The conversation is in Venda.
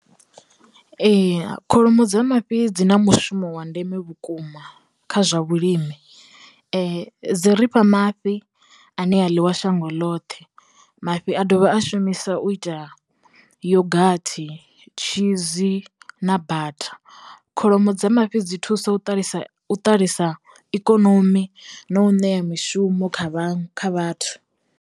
Ee kholomo dza mafhi dzi na mushumo wa ndeme vhukuma kha zwa vhulimi. Dzi rifha mafhi a ne a ḽiwa shango ḽoṱhe mafhi a dovha a shumisa u ita yogathi, tshizi na batha. Kholomo dza mafhi dzi thusa u ṱalisa ṱalisa ikonomi na u ṋea mishumo kha vha kha vhathu.